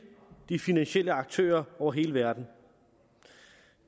de finansielle aktører over hele verden